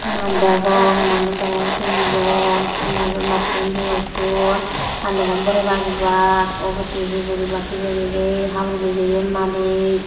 mach degong manuch degong tinjon se majo majcchun hi gocchon hallongot boreybak ek baak obow se higuribak hijeni dey habor bijeyon madit.